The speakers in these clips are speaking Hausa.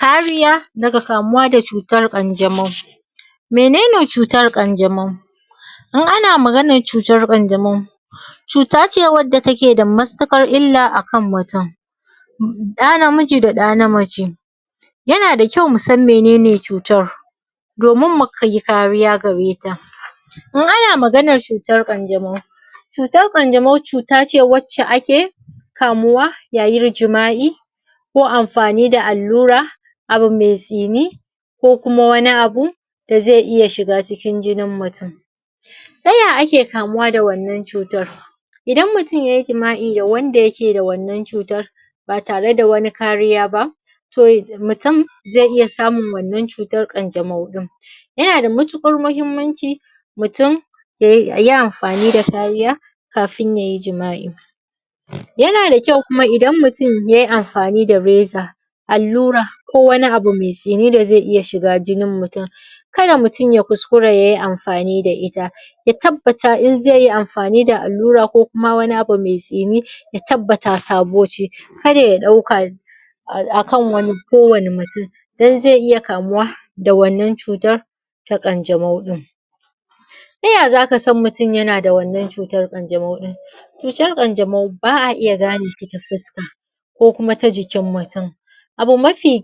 Kariya daga kamuwa daga cutar ƙanjamau Mene ne cutar ƙanjamau? In ana maganar cutar ƙanjamau cuta ce wadda take da matuƙar illa akan mutum, ɗa namiji da ɗa na mace. Ya na da kyau musan menene cutar domin mu kai yi kariya gare ta. In ana maganar cutar ƙanjamau, cutar ƙanjamau, cuta ce wacce ake kamuwa yayin jima'i ko amfani da allura, abu mai tsini ko kuma wani abu da zai iya shiga cikin jinin mutum. Ta ya ake kamuwa da wannan cutar? Idan mutum yayi jima'i da wanda ya ke da wannan cutar ba tare da wani kariya ba to musam zai iya samun wannan cutar ƙanjamau ɗin. Ya na da matuƙar muhimmanci mutum da yayi amfani da kariya kafin yayi jima'i. Ya na da kyau kuma idan mutum yayi amfani da reza, allura, ko wani abu mai tsini da zai iya shiga jinin mutum ka da mutum ya kuskura yayi amfani da ita ya tabbata in zai amfani da allura ko wani abu mai tsini ya tabbata sabo ce kar ya ɗauka a akan wani ko wani mutum don zai iya kamuwa da wannan cutar ta ƙanjamau ɗin. Ta ya za ka san mutum ya na da wannan cutar ƙanjamau ɗin? Cutar ƙanjamau ba'a iya ganeta ta fuska ko kuma ta jikin mutum. Abu mafi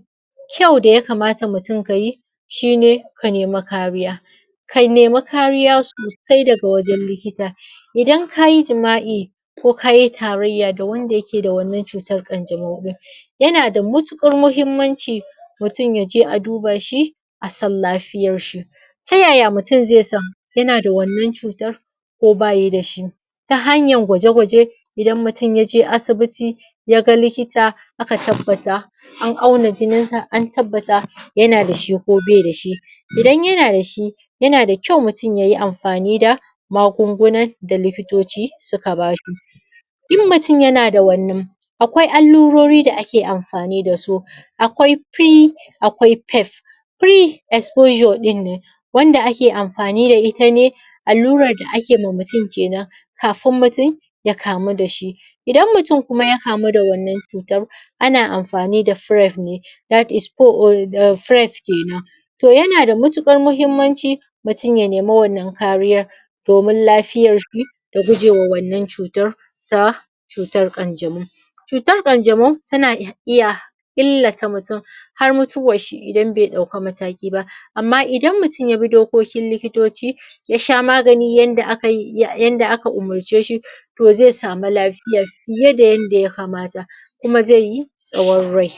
kyau da ya kamata mutum yayi shi ne ya nemi kariya. Ka nemi kariya sosai daga wajen likita. Idan kayi jima'i ko kayi tarayya da wanda ya ke da wannan cutar ƙanjamau ɗin. Ya na da matuƙar muhimmanci mutum yaje a duba shi, a san lafiyar shi. Ta yaya mutum zai san ya na da wannan cutar ko ba ya da shi? Ta hanyan gwaje-gwaje idan mutum ya je asibiti ya ga likita aka tabbata an auna jinin sa, an tabbata ya na da shi ko be da shi. Idan ya na da shi ya na da kyau mutum yayi amfani da magun-gunan da likitoci suka ba shi. In mutum ya na da wannan akwai allurori da ake amfani da su akwai pre akwai pef pre exposure ɗin ne wanda ake amfani da ita ne allurar da ake ma mutum kenan, kafin mutum ya kamu da shi. Idan mutum kuma ya kamu da wannan cutar ana amfani da pref ne that is pref kenan. To ya na da matuƙar muhimmanci mutum ya nemi wannan kariyar, domin lafiyar shi, da gujewa wannan cutar ta cutar ƙanjamau. Cutar ƙanjamau ta na iya illata mutum har mutuwar shi idan bai ɗauka mataki ba. Amma idan mutum ya bi dokokin likitoci, ya sha magani yanda aka yi yanda aka umurce shi, to zai samu lafiya fiye da yanda ya kamata kuma zai yi tsawon rai.